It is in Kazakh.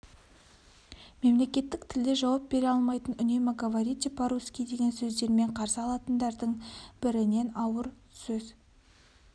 мемлекеттік тілде жауап бере алмайтын үнемі говорите по русский деген сөздермен қарсы алатындардың бірінен ауыр сөз